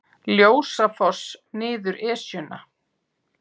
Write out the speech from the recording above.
Ljósafoss niður Esjuna